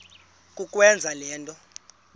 kukwenza le nto